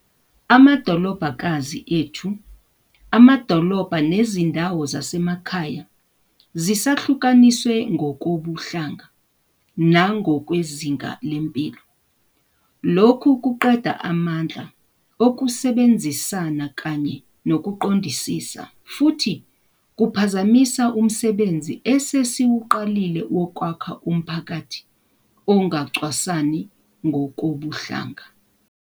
Amadolobhakazi ethu, amadolobha nezindawo zasemakhaya zisahlukaniswe ngokobuhlanga nangokwezinga lempilo. Lokhu kuqeda amandla okusebenzisana kanye nokuqondisisa, futhi kuphazamisa umsebenzi esesiwuqalile wokwakha umphakathi ongacwasani ngokobuhlanga.